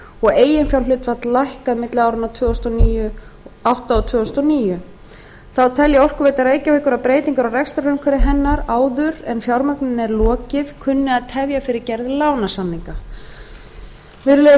og eiginfjárhlutfall lækkað milli áranna tvö þúsund og átta og tvö þúsund og níu þá telur orkuveita reykjavíkur að breytingar á rekstrarumhverfi hennar áður en fjármögnun er lokið kunni að tefja fyrir gerð lánasamninga virðulegi